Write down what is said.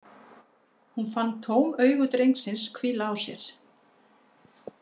Hún fann tóm augu drengsins hvíla á sér.